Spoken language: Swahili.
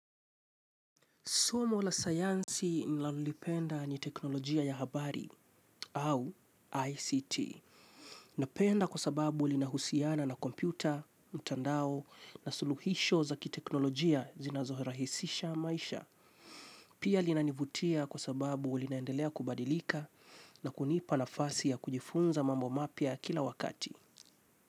Somo la sayansi nilalolipenda ni teknolojia ya habari au ICT. Napenda kwa sababu lina husiana na kompyuta, mtandao na suluhisho zaki teknolojia zinazohirahisisha maisha. Pia linanivutia kwa sababu linaendelea kubadilika na kunipa na fasi ya kujifunza mambo mapia kila wakati.